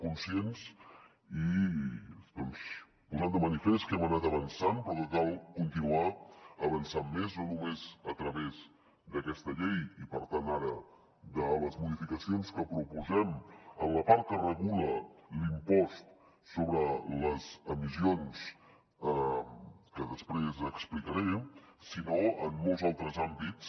conscients i posant de manifest que hem anat avançant però que cal continuar avançant més no només a través d’aquesta llei i per tant ara de les modificacions que proposem en la part que regula l’impost sobre les emissions que després explicaré sinó en molts altres àmbits